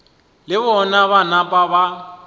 le bona ba napa ba